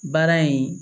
Baara in